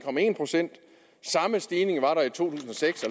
procent samme stigning var der i to tusind og seks